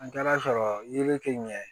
An taara sɔrɔ yiri tɛ ɲɛ